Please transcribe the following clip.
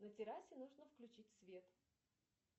на террасе нужно включить свет